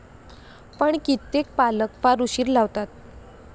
पण कित्येक पालक फार उशीर लावतात.